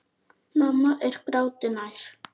Mamma er gráti nær.